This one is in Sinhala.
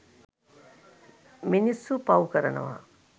මිනිස්සු පවු කරනවා.